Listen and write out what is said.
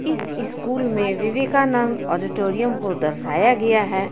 इस इस्कूल में विवेकानंद ऑडिटोरियम को दर्शाया गया है.